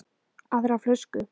Aðra flösku?